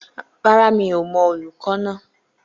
Rárá, mi ò mọ olùkọ́ náà